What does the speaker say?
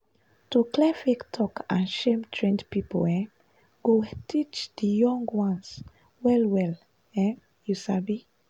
to clear fake talk and shame trained people um go teach di young ones well well um you sabi.